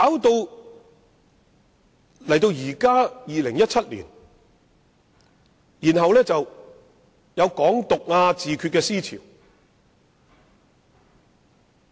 不過，到了現在2017年，卻出現"港獨"和"自決"的思潮。